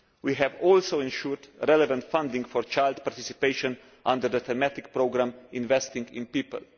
We have also ensured relevant funding for child participation under the thematic programme Investing in People'.